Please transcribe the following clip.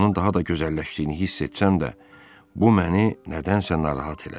Onun daha da gözəlləşdiyini hiss etsəm də, bu məni nədənsə narahat elədi.